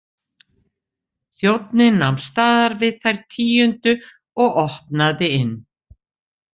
Þjónninn nam staðar við þær tíundu og opnaði inn.